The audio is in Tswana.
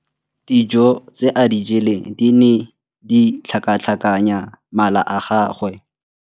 Dijô tse a di jeleng di ne di tlhakatlhakanya mala a gagwe.